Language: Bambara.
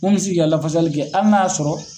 Mun mi se k'i ka lafasali kɛ, hali n'a y'a sɔrɔ